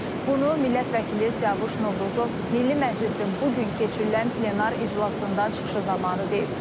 Bunu Milli Məclisdə Siyavuş Novruzov Milli Məclisin bu gün keçirilən plenar iclasında çıxışı zamanı deyib.